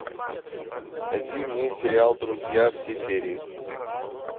найди мне сериал друзья все серии